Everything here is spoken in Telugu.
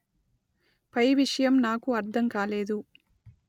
పై విషయం నాకు అర్థం కాలేదు